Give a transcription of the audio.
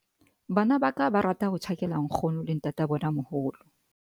bana ba ka ba rata ho tjhakela nkgono le ntatabonamoholo